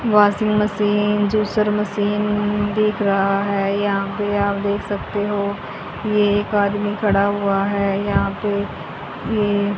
washing machine juicer machine दिख रहा है यहां पे आप देख सकते हो ये एक आदमी खड़ा हुआ है यहां पे ये --